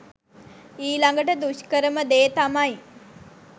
ඊළඟට දුෂ්කරම දේ තමයි